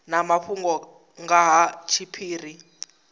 na mafhungo nga ha tshiphiri